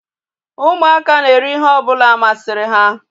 Ụmụaka na-eri ihe ọbụla masịrị ha